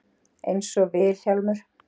Einsog Vil- hjálmur.